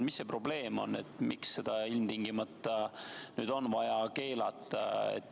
Mis see probleem on, miks seda ilmtingimata on vaja keelata?